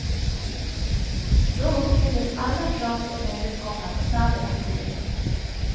Då uppfylldes alla krav på nödutgångar och snabb evakuering.